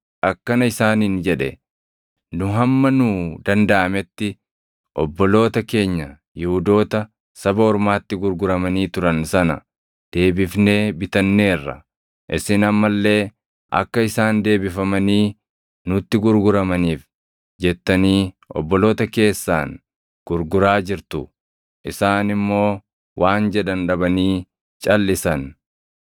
akkana isaaniin jedhe; “Nu hamma nuu dandaʼametti obboloota keenya Yihuudoota saba ormaatti gurguramanii turan sana deebifnee bitanneerra. Isin amma illee akka isaan deebifamanii nutti gurguramaniif jettanii obboloota keessaan gurguraa jirtu!” Isaan immoo waan jedhan dhabanii calʼisan.